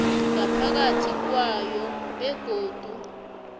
ngaphakathi kwayo begodu